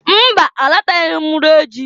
Mba! Alataghị m iri ji.